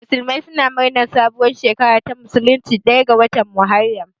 Musulmai suna murnar sabuwar shekara ta musulunci ɗaya ga watan Muharram.